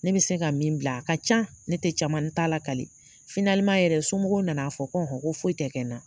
Ne bɛ se ka min bila a ka can ne tɛ caman n t'a lakali yɛrɛ somɔgɔw na na fɔ ko hɔn ko foyi tɛ kɛ n na.